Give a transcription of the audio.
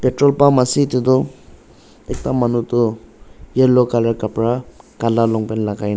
petrol pump ase edu tu ekta manu tu yellow colour kapra kala long pant la--